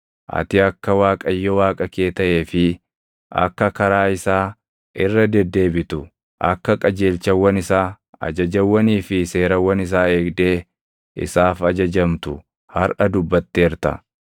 Ati akka Waaqayyo Waaqa kee taʼee fi akka karaa isaa irra deddeebitu, akka qajeelchawwan isaa, ajajawwanii fi seerawwan isaa eegdee isaaf ajajamtu harʼa dubbatteerta.